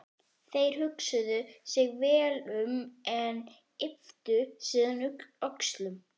Þeir hugsuðu sig vel um en ypptu síðan öxlum.